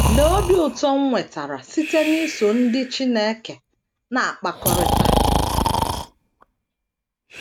Lee obi ụtọ m nwetara site n’iso ndị Chineke na - akpakọrịta!